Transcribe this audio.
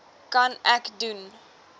kan ek doen